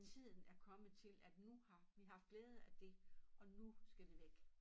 Tiden er kommet til at nu har vi haft glæde af det og nu skal det væk